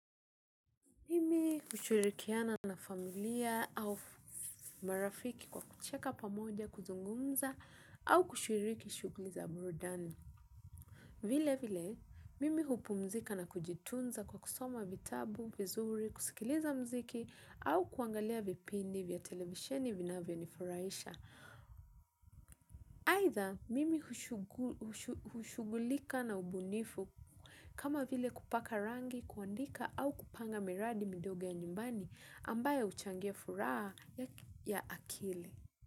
Mimi hushirikiana na familia au marafiki kwa kucheka pamoja, kuzungumza au kushuriki shughuli za burudani. Vilevile, mimi hupumzika na kujitunza kwa kusoma vitabu, vizuri, kusikiliza muziki au kuangalia vipindi vya televisheni vinavyonifurahisha. Aidha mimi hushughulika na ubunifu kama vile kupaka rangi, kuandika au kupanga miradi midogo ya nyumbani ambayo huchangia furaha ya akili.